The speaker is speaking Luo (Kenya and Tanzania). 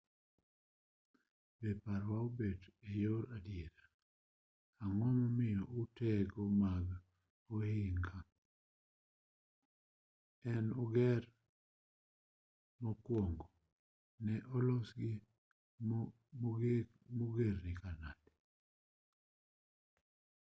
be parowa obet eyor adiera ang'o momiyo utego mag ohinga ne oger mokuongo ne olosgi mogergi nade